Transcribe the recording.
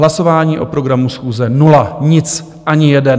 Hlasování o programu schůze - nula, nic, ani jeden.